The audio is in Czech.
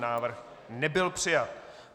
Návrh nebyl přijat.